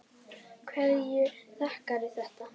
Hverju þakkarðu þetta?